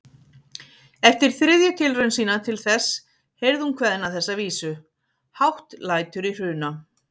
Eftir þriðju tilraun sína til þess heyrði hún kveðna þessa vísu: Hátt lætur í Hruna